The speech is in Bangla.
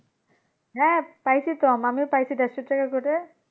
হ্যাঁ পাইছি তো আমিও পাইছি চারশো টাকা করে,